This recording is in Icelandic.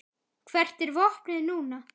Hvert er vopnið núna?